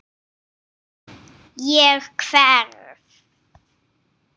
Ég hverf.